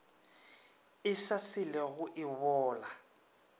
e sa selego e bola